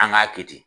An k'a kɛ ten